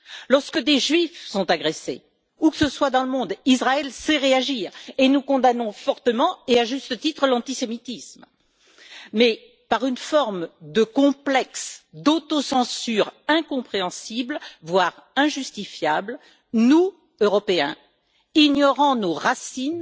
Lorsque des juifs sont agressés, où que ce soit dans le monde, Israël sait réagir et nous condamnons fortement, et à juste titre, l'antisémitisme. Mais par une forme de complexe d'autocensure incompréhensible, voire injustifiable, nous, Européens, ignorant nos racines